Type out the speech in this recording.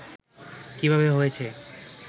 কিভাবে হয়েছে